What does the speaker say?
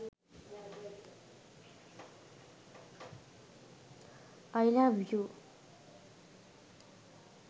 i love you